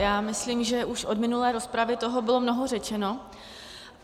Já myslím, že už od minulé rozpravy toho bylo mnoho řečeno.